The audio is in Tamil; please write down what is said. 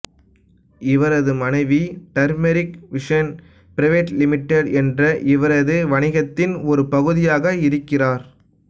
இவரது மனைவி டர்மெரிக் விஷன் பிரைவேட் லிமிடெட் என்ற இவரது வணிகத்தின் ஒரு பகுதியாக இருக்கிறார்